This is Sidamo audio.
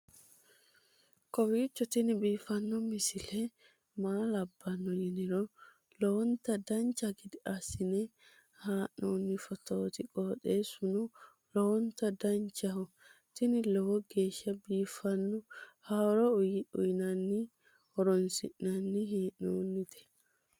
kowiicho tini biiffanno misile maa labbanno yiniro lowonta dancha gede assine haa'noonni foototi qoxeessuno lowonta danachaho. tini lowo geeshsha biiffanno haaro uyannara horoonsi'nanni hee'noonite